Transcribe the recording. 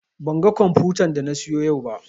Ban ga komfutan da na siyo yau ba